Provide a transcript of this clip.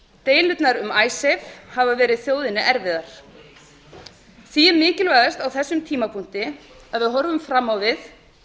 deilurnar um icesave hafa verið þjóðinni erfiðar því er mikilvægast á þessum tímapunkti að við horfum fram á við